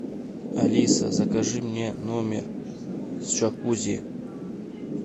алиса закажи мне номер с джакузи